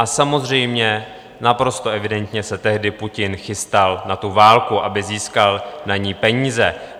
A samozřejmě naprosto evidentně se tehdy Putin chystal na tu válku, aby získal na ni peníze.